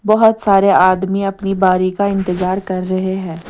बहुत सारे आदमी अपनी बारी का इंतजार कर रहे हैं।